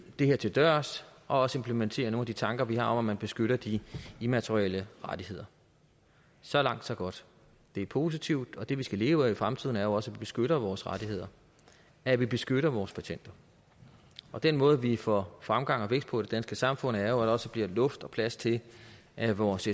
det her til dørs og også implementere nogle af de tanker vi har om at man beskytter de immaterielle rettigheder så langt så godt det er positivt og det vi skal leve af i fremtiden er jo også beskytter vores rettigheder at vi beskytter vores patenter og den måde vi får fremgang og vækst på i det danske samfund er jo også bliver luft og plads til at vores